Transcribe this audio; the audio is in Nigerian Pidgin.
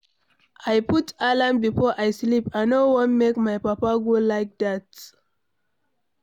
I put alarm before I sleep, I no wan make my papa go like dat.